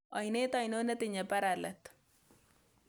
Oinet ainon netiinye bara let